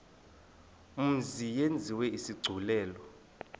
mzi yenziwe isigculelo